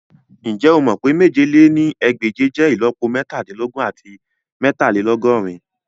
Njẹ o mọ pe mèje lé ní ẹgbẹ́je jẹ ìlọ́po metadinlogun ati meetalelogorin?